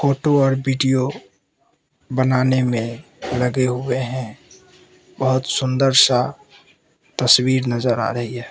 Photo और video बनाने में लगे हुए हैं बहोत सुंदर सा तस्वीर नजर आ रही है।